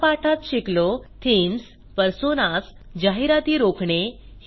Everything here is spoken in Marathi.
या पाठात शिकलोः थीम्स पर्सोनास जाहिराती रोखणे